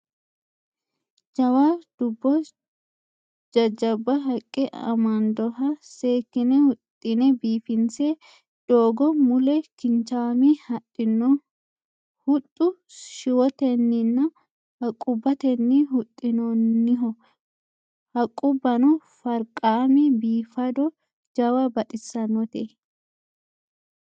Jawa dubbo jajjabba haqqe amandoha seekkine huxxunni biifinse doogo mule kinchaame hadhino huxxu shiwotenninna haqqubbatenni huxxinoonniho. Haqqubbano farqaamma biifado jawa baxissannote.